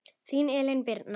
Þín Elín Birna.